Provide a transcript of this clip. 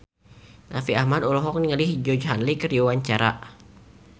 Raffi Ahmad olohok ningali Georgie Henley keur diwawancara